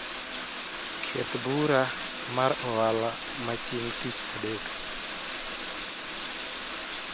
Keth bura mar ohala ma chieng'tich adek